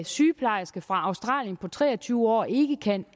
sygeplejerske fra australien på tre og tyve år ikke kan